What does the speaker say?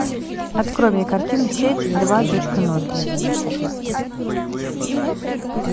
открой мне картину сеть два точка ноль